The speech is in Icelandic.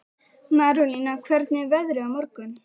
Marólína, hvernig er veðrið á morgun?